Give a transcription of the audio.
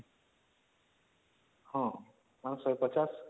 ହଁ ମାନେ ୧୫୦